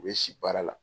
U bɛ si baara la